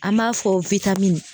An b'a fɔ